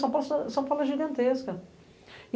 São Paulo é gigantesca.